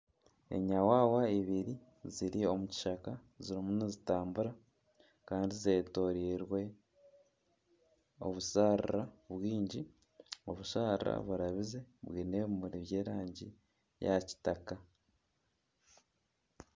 Enyawawa ibiri ziri omu kishaka zirimu nizitambura kandi zeetoreirwe obusharara bwingi obusharara burabize bwine obumuri bw'erangi ya kitaka